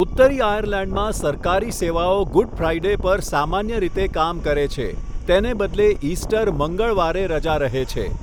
ઉત્તરી આયર્લેન્ડમાં સરકારી સેવાઓ ગુડ ફ્રાઈડે પર સામાન્ય રીતે કામ કરે છે, તેને બદલે ઇસ્ટર મંગળવારે રજા રહે છે.